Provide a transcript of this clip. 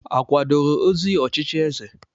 A kwadoro ozi ochichi eze?